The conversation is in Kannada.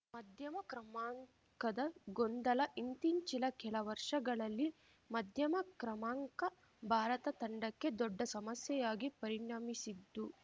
ಮಧ್ಯಮ ಕ್ರಮಾಂಕದ ಗೊಂದಲ ಇಂತ್ತೀಚಿನ ಕೆಲ ವರ್ಷಗಳಲ್ಲಿ ಮಧ್ಯಮ ಕ್ರಮಾಂಕ ಭಾರತ ತಂಡಕ್ಕೆ ದೊಡ್ಡ ಸಮಸ್ಯೆಯಾಗಿ ಪರಿಣಮಿಸಿದ್ದು